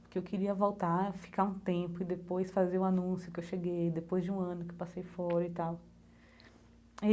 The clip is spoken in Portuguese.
Porque eu queria voltar e ficar um tempo e depois fazer o anúncio que eu cheguei, depois de um ano que eu passei fora e tal e.